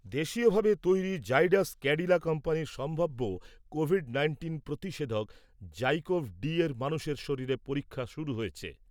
দেশীয়ভাবে তৈরি জাইডাস ক্যাডিলা কোম্পানির সম্ভাব্য কোভিড নাইন্টিন প্রতিষেধক জাইকোভ ডি এর মানুষের শরীরে পরীক্ষা শুরু হয়েছে ।